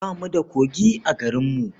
Ba mu da kogi a garinmu.